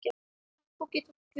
Kongó getur átt við um